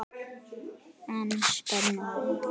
En spennó!